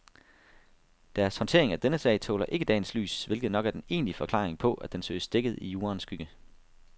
Deres håndtering af denne sag tåler ikke dagens lys, hvilket nok er den egentlige forklaring på, at den søges dækket i juraens skygge.